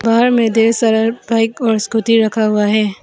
बाहर में ढ़ेर सारा बाइक और स्कूटी रखा हुआ है।